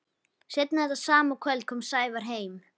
Seinna þetta sama kvöld kom Sævar heim.